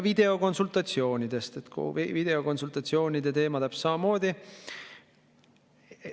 Videokonsultatsioonide teema täpselt samamoodi.